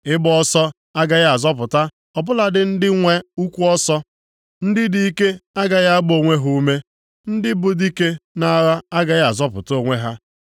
Ịgba ọsọ agaghị azọpụta ọ bụladị ndị dị nwe ụkwụ ọsọ, ndị dị ike agaghị agba onwe ha ume, ndị bụ dike nʼagha agaghị azọpụta onwe ha.